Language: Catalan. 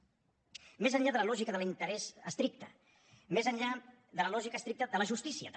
més enllà de la lògica de l’interès estricte més enllà de la lògica estricta de la justícia també